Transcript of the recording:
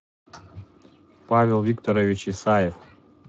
павел викторович исаев